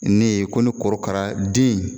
Ne ye ko ni korokara den